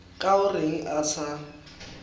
ka o reng a sa